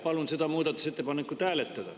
Palun seda muudatusettepanekut hääletada.